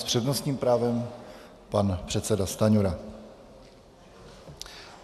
S přednostním právem pan předseda Stanjura.